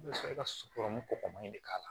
I bɛ sɔrɔ ka sukɔru kɔgɔmanin de k'a la